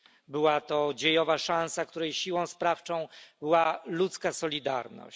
Była to dziejowa szansa, której siłą sprawczą była ludzka solidarność.